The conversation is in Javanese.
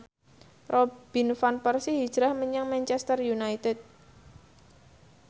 Robin Van Persie hijrah menyang Manchester united